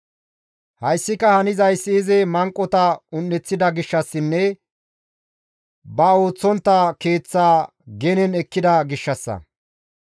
Hayssika hanzayssi izi manqota un7eththida gishshassinne ba ooththontta keeththa genen ekkida gishshassa.